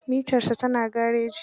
Mitarsa ta na gareji.